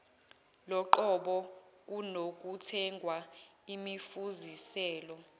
loqobo kunokuthenga imifuziselo